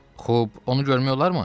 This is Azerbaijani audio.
Xub, onu görmək olarmı?"